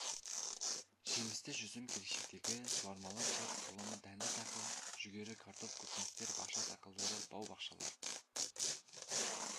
жемісті жүзім келешектегі суармалы жер құрамы дәнді дақыл жүгері картоп көкөністер бақша дақылдары бау-бақшалар